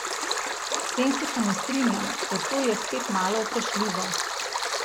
S tem se pa ne strinjam, ker to je spet malo vprašljivo.